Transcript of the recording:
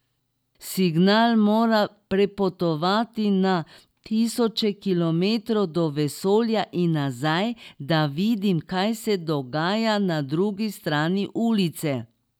Signal mora prepotovati na tisoče kilometrov do vesolja in nazaj, da vidim, kaj se dogaja na drugi strani ulice.